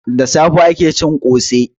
Da safe ake cin kose.